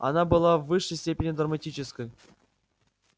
она была в высшей степени драматической